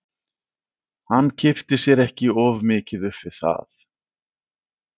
Hann kippti sér ekki of mikið upp við það.